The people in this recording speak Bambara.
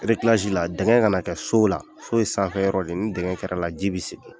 la dingɛ ka na kɛ sow la, so ye sanfɛ yɔrɔ de ye, ni dingɛ kɛra la ji bi sigi